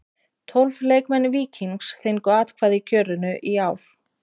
Tólf leikmenn Víkings fengu atkvæði í kjörinu í ár.